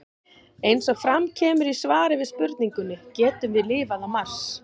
Eins og fram kemur í svari við spurningunni Getum við lifað á Mars?